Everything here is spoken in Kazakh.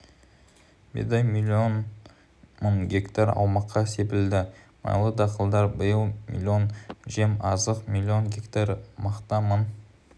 бидай млн мың гектар аумаққа себілді майлы дақылдар биыл млн жем-азық млн гектар мақта мың